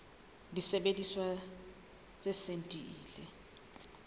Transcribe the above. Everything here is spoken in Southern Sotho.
disebediswa tse seng di ile